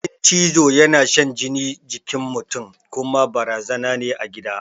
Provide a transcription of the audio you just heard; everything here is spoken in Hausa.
Ƙudin cizo yana shan jini jikin mutun kuma barazana ne a gida